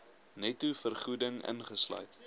netto vergoeding ingesluit